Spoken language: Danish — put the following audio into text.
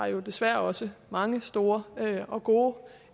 jo desværre også mange store og gode